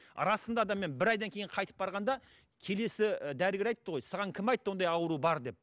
расында да мен бір айдан кейін қайтып барғанда келесі дәрігер айтты ғой саған кім айтты ондай ауру бар деп